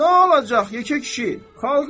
Nə olacaq, yekə kişi.